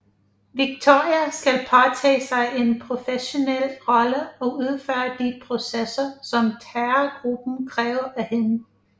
Victoria skal påtage sig en professionel rolle og udføre de processer som terrorgruppen kræver af hende